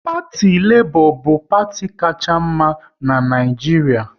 Parti Lebọ bu parti kacha mma n'Naijiria